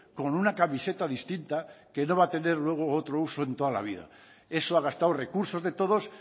con una camiseta distinta que no va a tener luego otro uso en toda la vida eso ha gastado recursos de todos